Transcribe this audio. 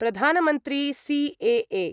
प्रधानमन्त्री सीएए